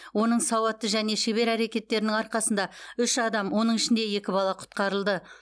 оның сауатты және шебер әрекеттерінің арқасында үш адам оның ішінде екі бала құтқарылды